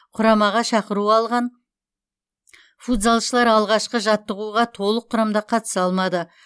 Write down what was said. құрамаға шақыру алған футзалшылар алғашқы жаттығуға толық құрамда қатыса алмады